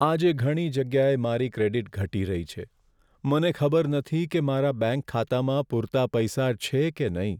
આજે ઘણી જગ્યાએ મારી ક્રેડિટ ઘટી રહી છે. મને ખબર નથી કે મારા બેંક ખાતામાં પૂરતા પૈસા છે કે નહીં.